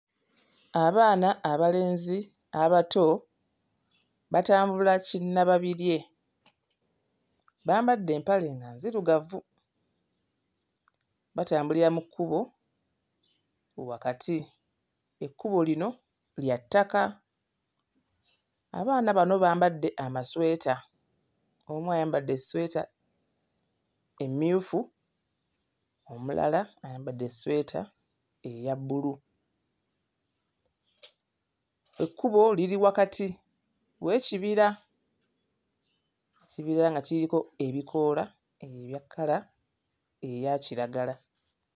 Abaana abalenzi abato batambula kinnababirye. Bambadde empale nga nzirugavu, batambulira mu kkubo wakati, ekkubo lino lya ttaka. Abaana bano bambadde amasweta, omu ayambadde essweta emmyufu, omulala ayambadde essweta eya bbulu. Ekkubo liri wakati w'ekibira, ekibira nga kiriko ebikoola ebya kkala eya kiragala.